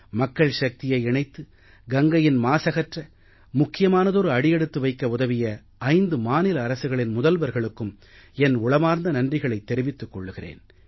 மக்கள் சக்தியை இணைத்து கங்கையின் மாசகற்ற முக்கியமானதொரு அடி எடுத்து வைக்க உதவிய 5 மாநில அரசுகளின் முதல்வர்களுக்கும் என் உளமார்ந்த நன்றிகளைத் தெரிவித்துக் கொள்கிறேன்